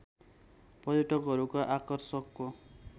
पर्यटकहरूको आकर्षकको